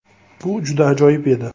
Bu juda ajoyib edi.